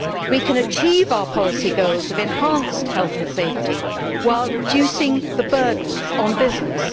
We can achieve our policy goals of enhanced health and safety, while reducing the burdens on business.